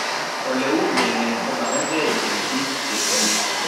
Ole u ming'et ko magerge eng' biko che tinye.